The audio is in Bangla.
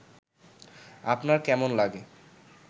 আপনার কেমন লাগে